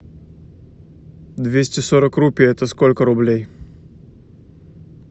двести сорок рупий это сколько рублей